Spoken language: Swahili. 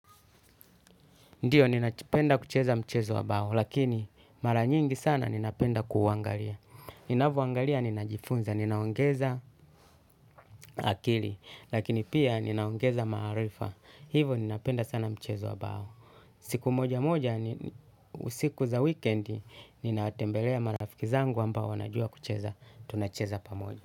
Ndiyo, ninapenda kucheza mchezo wa bao, lakini maranyingi sana ninapenda kuangalia. Ninavyo angalia, ninajifunza, ninaongeza akili, lakini pia ninaongeza marifa. Hivyo ninapenda sana mchezo wa bao. Siku moja moja, usiku za weekend, ninatembelea marafiki zangu ambao wanajua kucheza, tunacheza pamoja.